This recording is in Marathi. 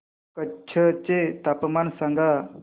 कच्छ चे तापमान सांगा